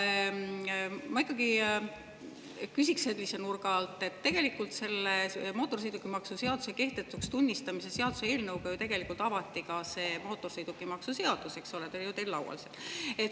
Aga ma ikkagi küsiks sellise nurga alt, et selle mootorsõidukimaksu seaduse kehtetuks tunnistamise seaduse eelnõuga ju tegelikult avati ka see mootorsõidukimaksu seadus, eks ole, mis teil on seal laual.